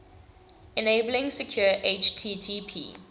enabling secure http